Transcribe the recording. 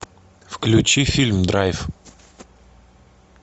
включи фильм драйв